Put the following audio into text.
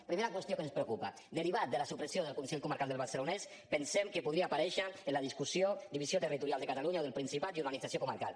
primera qüestió que ens preocupa derivat de la supressió del consell comarcal del barcelonès pensem que podria aparèixer en la discussió divisió territorial de catalunya o del principat i organització comarcal